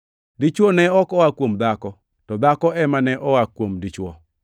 Dichwo ne ok oa kuom dhako, to dhako ema ne oa kuom dichwo.